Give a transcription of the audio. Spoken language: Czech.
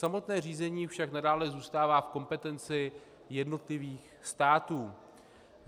Samotné řízení však nadále zůstává v kompetenci jednotlivých států.